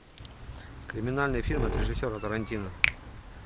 криминальный фильм от режиссера тарантино